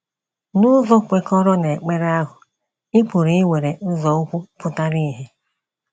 N’ụzọ kwekọrọ n’ekpere ahụ, ị pụrụ iwere nzọụkwụ pụtara ìhè.